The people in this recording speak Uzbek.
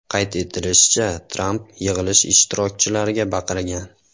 Qayd etilishicha, Tramp yig‘ilish ishtirokchilariga baqirgan.